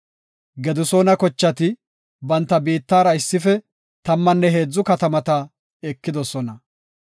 Gedisoona kochati hentha biittara issife tammanne heedzu katamata ekidosona.